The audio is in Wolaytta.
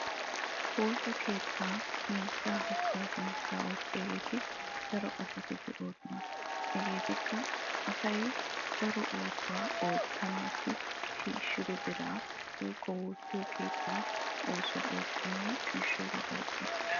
woosa keettaa miishshaa haggaazanchchaa oottiyageeti daro asati de'oosona. hegeetikka asay daro oosuwa oottanaassi shiishshido biraa woyikko woossiyo keettaa oosuwa oottana shiishshooga oyiqqes.